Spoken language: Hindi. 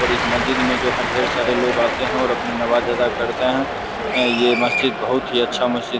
और इस मस्जिद में जो है ढेर सारे लोग आते हैं और अपनी नमाज अदा करते हैं ये मस्जिद बहुत ही अच्छा मस्जिद --